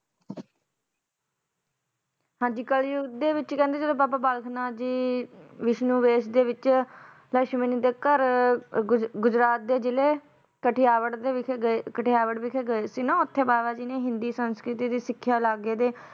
ਹਾਂਜੀ ਕਲਯੁੱਗ ਦੇ ਵਿਚ ਕਹਿੰਦੇ ਜਦੋਂ ਬਾਬਾ ਬਾਲਕ ਨਾਥ ਜੀ ਵਿਸ਼ਨੂੰ ਵੇਸ਼ ਦੇ ਵਿੱਚ ਲਕਸ਼ਮੀ ਦੇ ਘਰ ਗੁਜ~ ਗੁਜਰਾਤ ਦੇ ਜਿਲ੍ਹੇ ਕਠਿਆਵੜ ਦੇ ਵਿਖੇ ਗਏ ਕਠਿਆਵੜ ਵਿਖੇ ਗਏ ਸੀ ਨਾ ਓਥੇ ਬਾਬਾ ਜੀ ਨੇ ਹਿੰਦੀ ਸੰਸਕ੍ਰਿਤੀ ਦੀ ਸਿੱਖਿਆ ਲੱਗ ਗਏ ਤੇ